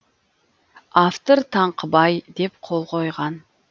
автор таңқыбай деп қол койған